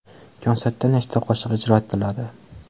Konsertda nechta qo‘shiq ijro etiladi?